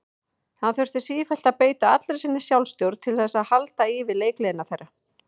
Hann þurfti sífellt að beita allri sinni sjálfstjórn til að halda í við leikgleði þeirra.